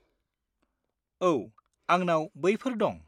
औ, आंनाव बैफोर दं।